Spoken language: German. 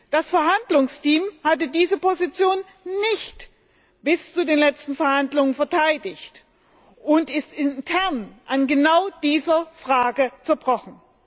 Das Verhandlungsteam hatte diese Position nicht bis zu den letzten Verhandlungen verteidigt und ist intern an genau dieser Frage zerbrochen.